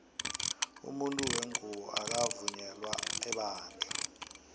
umunfu wengubo akakavunyela ebandla